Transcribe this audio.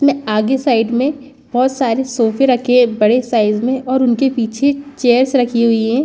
में आगे साइड में बहुत सारे सोफे रखे हैं एक बड़े साइज़ में और उनके पीछे चेयर्स रखी हुई हैं।